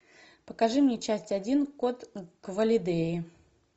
покажи мне часть один код квалидеи